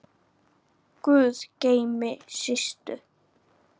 Guð geymi Systu.